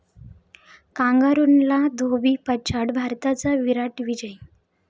कांगारूंना धोबीपछाड, भारताचा 'विराट' विजय